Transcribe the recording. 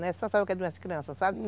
sabe o que é doença de criança, sabe?